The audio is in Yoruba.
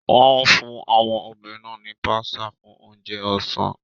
Wọ́n fún àwọn obìnrin náà ní pasta fún oúnjẹ ọ̀sán.